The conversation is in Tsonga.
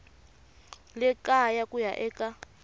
le kaya ku ya eka